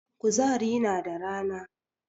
Kuzari na da rana